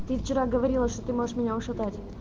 ты вчера говорила что ты можешь меня ушатать